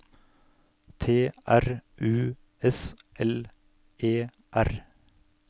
T R U S L E R